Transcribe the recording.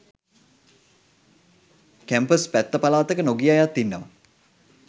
campus පැත්ත පලාතක නොගිය අයත් ඉන්නවා